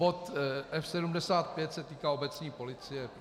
Bod 75 se týká obecní policie.